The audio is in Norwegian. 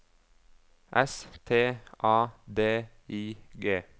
S T A D I G